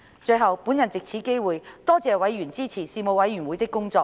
最後，我藉此機會，多謝委員支持事務委員會的工作。